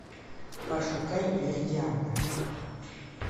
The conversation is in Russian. пошукай виридиана